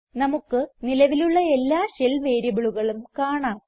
നമുക്ക് നിലവിലുള്ള എല്ലാ ഷെൽ വേരിയബിളുകളും കാണാം